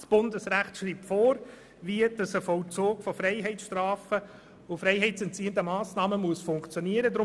Das Bundesrecht schreibt vor, dass der Vollzug von Freiheitsstrafen und freiheitsentziehenden Massnahmen funktionieren muss.